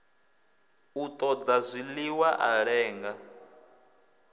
u ṱoḓa zwiḽiwa a lenga